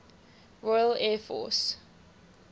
royal air force